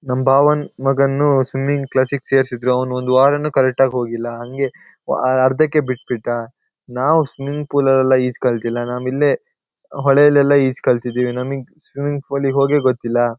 ನಮ್ ಬಾವನ್ ಮಗನು ಸ್ವಿಮ್ಮಿಂಗ್ ಕ್ಲಾಸಿಗ್ ಸೇರ್ಸಿದ್ರು ಅವನೊಂದ್ ವಾರನು ಕರೆಕ್ಟಾಗ್ ಹೋಗಿಲ್ಲ ಹಂಗೆ ಅಹ್ ಅರ್ಧಕ್ಕೆ ಬಿಟ್ಬಿಟ್ಟ ನಾವ್ ಸ್ವಿಮ್ಮಿಂಗ್ ಪೂಲೆಲ್ಲ ಈಜ್ ಕಲ್ತಿಲ್ಲನಾಮಿಲ್ಲೆ ಹೊಳಲೆಲ್ಲ ಈಜ್ ಕಲ್ತಿದೀವಿ ನಮಿಗ್ ಸ್ವಿಮ್ಮಿಂಗ್ ಪೂಲೀಗ್ ಹೋಗೆ ಗೊತ್ತಿಲ್ಲ.